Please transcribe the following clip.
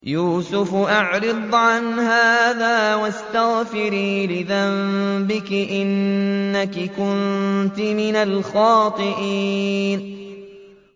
يُوسُفُ أَعْرِضْ عَنْ هَٰذَا ۚ وَاسْتَغْفِرِي لِذَنبِكِ ۖ إِنَّكِ كُنتِ مِنَ الْخَاطِئِينَ